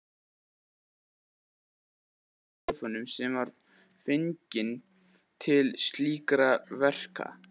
Það var prestur í einum af hinum klefunum sem var fenginn til slíkra verka.